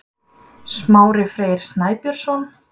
smári freyr snæbjörnsson